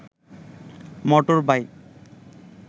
motor bike